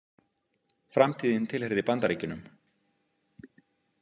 Framtíðin tilheyrði Bandaríkjunum.